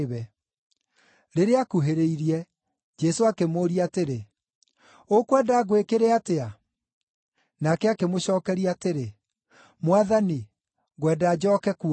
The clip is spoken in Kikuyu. Rĩrĩa aakuhĩrĩirie, Jesũ akĩmũũria atĩrĩ, “Ũkwenda ngwĩkĩre atĩa?” Nake akĩmũcookeria atĩrĩ, “Mwathani, ngwenda njooke kuona.”